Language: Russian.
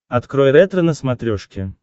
открой ретро на смотрешке